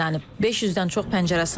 500-dən çox pəncərə sınıb.